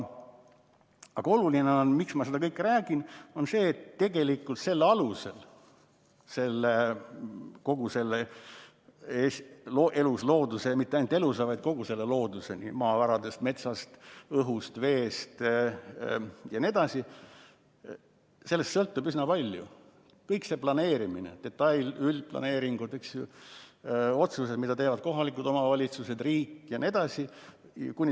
Aga oluline on – ja miks ma seda kõike räägin –, et tegelikult kogu sellest elusloodusest ja mitte ainult elusloodusest, vaid kogu loodusest, maavaradest, metsast, õhust, veest jne, sõltub üsna palju, kogu planeerimine, detail‑ ja üldplaneeringud, otsused, mida teevad kohalikud omavalitsused, riik jne.